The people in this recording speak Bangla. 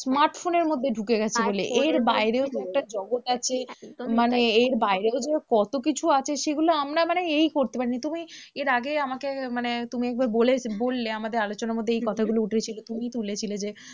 smartphone এর মধ্যে ঢুকে গেছে বলে এর বাইরেও যে একটা জগৎ আছে, মানে এর বাইরেও যে কতকিছু আছে সেগুলো আমরা মানে এইই করতে পারি না, তুমি এর আগে আমাকে মানে তুমি একবার বলে বললে আমাদের আলোচনার মাঝে এই কথাগুলো উঠেছিল, তুমিই তুলেছিলে যে